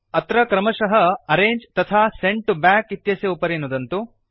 अत्र क्रमशः अर्रङ्गे तथा सेण्ड तो बैक इत्यस्य उपरि नुदन्तु